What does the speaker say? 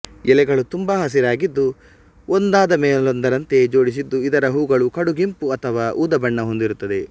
ಎಲೆಗಳು ತುಂಬಾ ಹಸಿರಾಗಿದ್ದು ಒಂದಾದ ಮೇಲೊಂದರಂತೆ ಜೋಡಿಸಿದ್ದು ಇದರ ಹೂಗಳು ಕಡುಗೆಂಪು ಅಥವಾ ಊದಾ ಬಣ್ಣ ಹೊಂದಿರುತ್ತದೆ